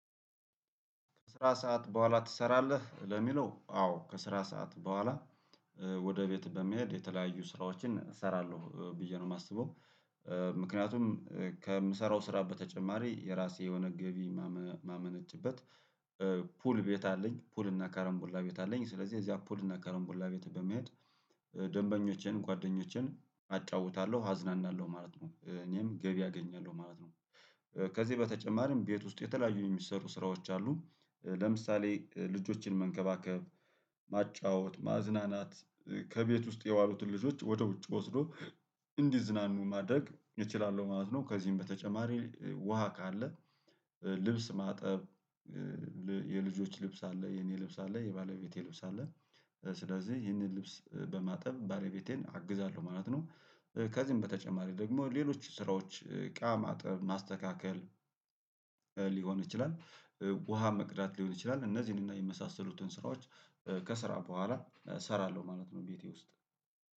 ከስራ ሰዓት በኋላ ትሰራለህ? ለሚለው አዎ ከስራ ሰዓት በኋላ ወደ ቤት በመሄድ የተለያዩ ስራዎችን እሰራለሁ ብዬ ነው የማስበው። ምክንያቱም ከምሰራው ስራ በተጨማሪ የራሴ የሆነ ገቢ የማመ ማመነጭበት ፑል ቤት አለኝ ፑል እና ከረም ቡላ ቤት አለኝ ስለዚህ እዚያ ፑል እና ከረንቡላ ቤት በመሄድ ደንበኞቼን ጓደኞቼን አጫውታለሁ አዝናናለሁ ማለት ነው እኔም ገቢ አገኛለሁ ማለት ነው። ከዚህ በተጨማሪም ቤት ውስጥ የተለያዩ የሚሰሩ ስራዎች አሉ ለምሳሌ ልጆችን መንከባከብ ማጫወት ማዝናናት ከቤት ውስጥ የዋሉትን ልጆች ወደ ውጭ ወስዶ እንዲዝናኑ ማድረግ እችላለሁ ማለት ነው። ከዚህም በተጨማሪ ውሃ ካለ ልብስ ማጠብ የልጆች ልብስ አለ የኔ ልብስ አለ የባለቤቴ ልብስ አለ ስለዚህ ይህንን ልብስ በማጠብ ባለቤቴን አግዛለሁ ማለት ነው። ከዚህም በተጨማሪ ደግሞ ሌሎች ስራዎች እቃ ማጥብ ማስተካከል ሊሆን ይችላል። ውሃ መቅዳት ሊሆን ይችላል እነዚህን እና የመሳሰሉትን ስራዎች ከስራ በኋላ እሰራለሁ ማለት ነው። ቤቴ ውስጥ